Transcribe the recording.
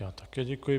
Já také děkuji.